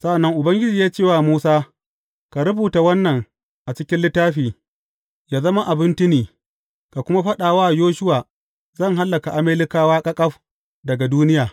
Sa’an nan Ubangiji ya ce wa Musa, Ka rubuta wannan a cikin littafi, yă zama abin tuni, ka kuma faɗa wa Yoshuwa zan hallaka Amalekawa ƙaƙaf daga duniya.